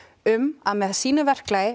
um að með sínu verklagi